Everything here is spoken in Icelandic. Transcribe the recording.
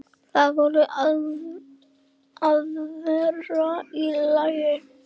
Það voru aðfarir í lagi!